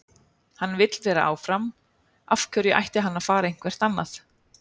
Hann vill vera áfram, af hverju ætti hann að fara eitthvert annað?